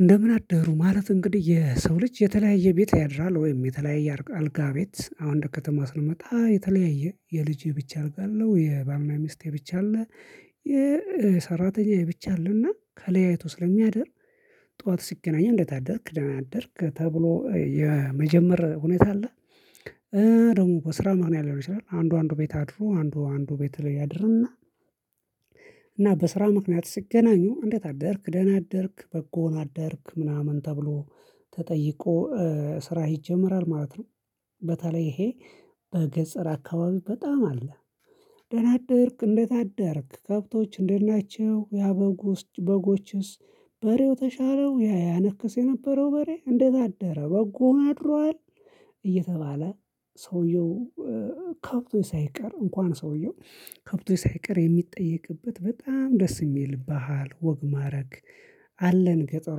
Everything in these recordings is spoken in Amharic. እንደምን አደሩ ማለት እንግዲህ የሰው ልጅ የተለያየ ቤት ያድራል ወይም የተለያየ አልጋ ቤት አሁን እንደ ከተማ ስንመጣ የተለያየ የልጅ የብቻ አልጋ አለው የባልና ሚስቴ ብቻ አለ። የሰራተኛ ብቻ አለና ከለያየቱ ስለሚያደርግ። ጠዋት ሲገናኘን እንደታደርክ ደህና አደርክ ተብሎ የመጀመር ሁኔታ አለ። ደግሞ በስራ ምክንያት ሊሆን ይችላል አንዱ አንዱ ቤት አድሮ አንዱ አንዱ ቤት ላይ ያድርንና። እና በስራ ምክንያት ሲገናኙ እንዴት አደርክ ደህና አደርክ በጎውን አደርክ ምናምን ተብሎ ተጠይቆ ስራ ይጀመራል ማለት ነው። በተለይ ይሄ በገጸር አካባቢ በጣም አለ። ደህና አደርክ እንዴት አደርክ ከብቶች እንዴት ናቸው ያ በጉስ በጎችስ? በሬው ተሻለው ያ ያነክስ የነበረው በሬ እንዴት አደረ በጎን አድሯል። እየተባለ ሰውየው ከብቱ ሳይቀር እንኳን ሰውየው ከብቱ ሳይቀር የሚጠየቅበት በጣም ደስ የሚል ባህል ወግ ማድረግ። አለን ገጠሩ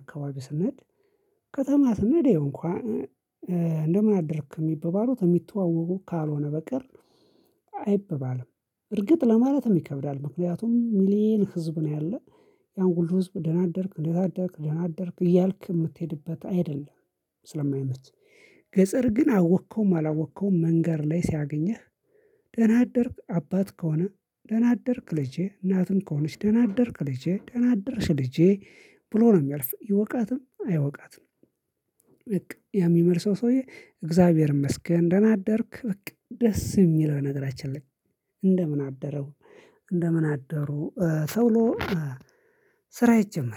አካባቢ ስንሄድ። ከተማ ስንሄድ እንኳን እንደምን አደርክ የሚባባሉት የሚተዋወቁ ካልሆነ በቀር አይበባልም። እርግጥ ለማለትም ይከብዳል ምክንያቱም ሚሊየን ህዝብ ነው ያለው ያን ሁሉ ህዝብ ደናደርክ እንዴት አደርክ ደህና አደርክ እያልክ የምትሄድበት አይደለም ስለማይመች። ገጸር ግን አወቅከው አላወቅከው መንገር ላይ ሲያገኝህ። ደህና አደርክ አባት ከሆነ ደህና አደርክ ልጄ እናትም ከሆነች ደህና አደርክ ልጄ ደህና አደርሽ ልጄ። ብሎ ነው የሚያልፍ ይወቃትም አይወቃትም። በቃ ያ ሚመልሰው ሰውዬ እግዚአብሔርን ይመስገን እህና አደርክ በቃ ደስ የሚል ነገራችን ላይ። እንደምን አደረው እንደምን አደሩ ተብሎ። ስራ ይጀመራል